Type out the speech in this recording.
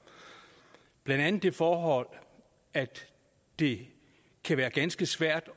blandt andet det forhold at det kan være ganske svært